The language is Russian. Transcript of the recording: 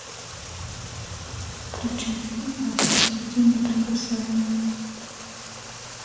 включи фильм один плюс один неприкасаемые